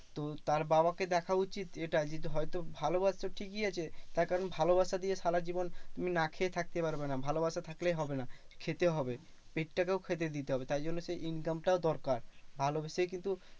তো তার বাবাকে দেখা উচিত এটা যে, হয়তো ভালোবাসছে ঠিকই আছে। তার কারণ ভালোবাসা দিয়ে সারা জীবন তুমি না খেয়ে থাকতে পারবে না। ভালোবাসা থাকলেই হবে না, খেতে হবে পেটটাকেও খেতে দিতে হবে। তাই জন্য তো income টাও দরকার ভালোবেসেই কিন্তু